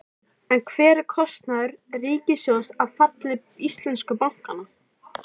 En hver er kostnaður ríkissjóðs af falli íslensku bankanna?